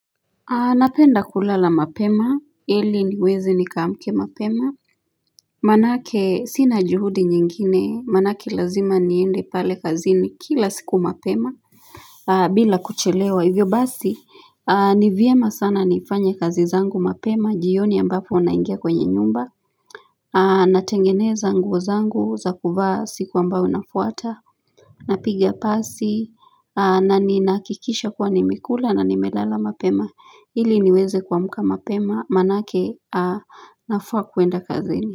Napenda kulala mapema ili niweze nikamke mapema Manake sina juhudi nyingine maanake lazima niende pale kazi ni kila siku mapema bila kuchelewa hivyo basi ni vyema sana nifanye kazi zangu mapema jioni ambapo unaingia kwenye nyumba Natengeneza nguo zangu za kuvaa siku ambayo unafuata Napiga pasi na ninahakikisha kwa nimekula na nimelala mapema Hili niweze kuamka mapema manake nafaa kuenda kazini.